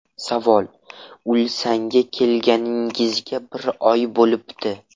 Savol: Ulsanga kelganingizga bir oy bo‘libdi.